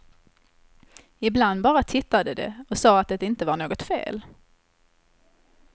Ibland bara tittade de och sa att det inte var något fel.